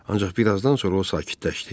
Ancaq birazdan sonra o sakitləşdi.